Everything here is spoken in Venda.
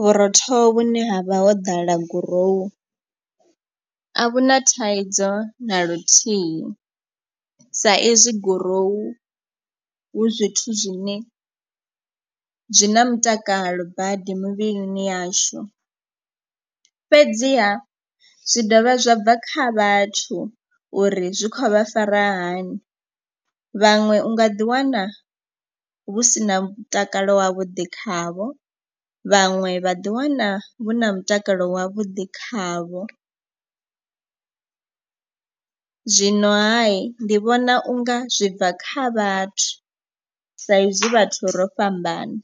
vhurotho vhune ha vha ho ḓala gurowu a vhu na thaidzo na luthihi. Sa izwi gurowu hu zwithu zwine zwi na mutakalo badi mivhilini yashu. Fhedziha zwi dovha zwa bva kha vhathu uri zwi khovha fara hani vhaṅwe unga ḓiwana hu si na mutakalo wavhuḓi khavho. Vhaṅwe vhaḓiwana vhu na mutakalo wavhuḓi khavho, zwino hayi ndi vhona unga zwi bva kha vhathu sa izwi vhathu ro fhambana.